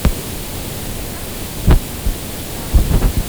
я хочу бананов килограмм